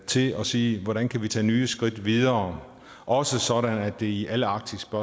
til at sige hvordan vi kan tage nye skridt videre også sådan at det i alle arktiske